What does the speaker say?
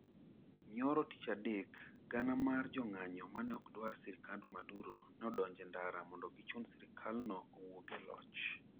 Nyoro tich adek gana mar jong'anyo mane okdawar sirkand Maduro neodonjo e ndara mondo gichun sirkalno owuog e loch.